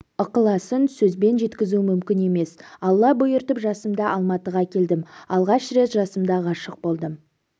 ықыласын сөзбен жеткізу мүмкін емес алла бұйыртып жасымда алматыга келдім алгаш рет жасымда ғашык болдым